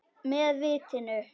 Með vitinu.